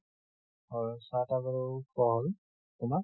হয় চাহ টাহ বাৰু খোৱা হল। তোমাৰ?